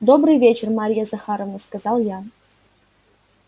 добрый вечер марья захаровна сказал я